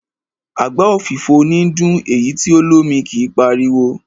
Àgbá òfìfo níí dún, èyí tí o lómi kí páriwo.